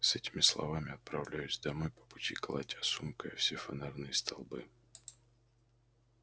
с этими словами отправляюсь домой по пути колотя сумкой о все фонарные столбы